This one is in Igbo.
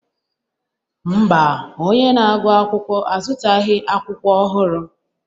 Mba, onye na-agụ akwụkwọ azụtaghị akwụkwọ ọhụrụ